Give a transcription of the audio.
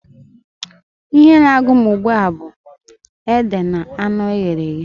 Ihe na-agụ m ugbua bụ ede na anụ eghere eghe.